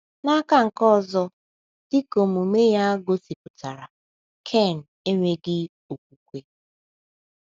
N’aka nke ọzọ, dị ka omume ya gosipụtara, Ken enweghị okwukwe.